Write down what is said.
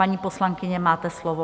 Paní poslankyně, máte slovo.